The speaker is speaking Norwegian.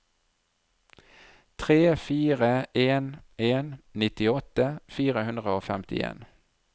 tre fire en en nittiåtte fire hundre og femtien